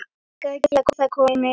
Krakkar geriði það komiði!